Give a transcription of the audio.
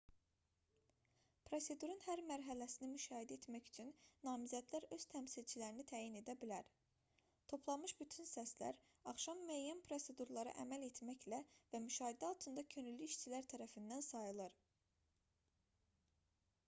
prosedurun hər mərhələsini müşahidə etmək üçün namizədlər öz təmsilçilərini təyin edə bilər toplanmış bütün səslər axşam müəyyən prosedurlara əməl etməklə və müşahidə altında könüllü işçilər tərəfindən sayılır